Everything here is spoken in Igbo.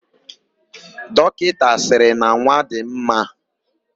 Dọkịta sịrị na nwa dị mma.,